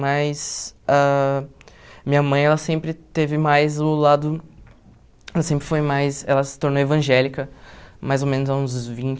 Mas ãh a minha mãe, ela sempre teve mais o lado, ela sempre foi mais, ela se tornou evangélica, mais ou menos há uns